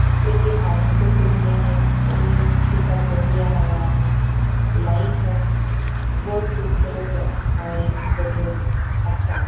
लेकिन आदमी तो कोई नहीं है कोई किसी का तोलिया है वहां पे लाइट है बहुत खूबसूरत एक बेडरूम है अच्छा है।